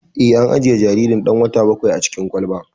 Eh, an ajiye jaririn ɗan wata bakwain a cikin kwalba